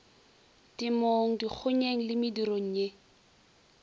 temong dikgonyeng le medirong ye